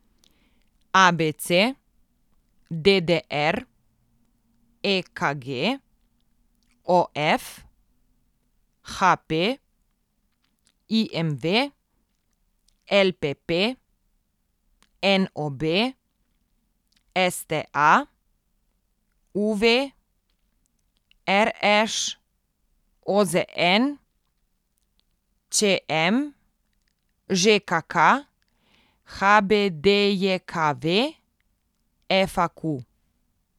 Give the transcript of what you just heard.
A B C; D D R; E K G; O F; H P; I M V; L P P; N O B; S T A; U V; R Š; O Z N; Č M; Ž K K; H B D J K V; F A Q.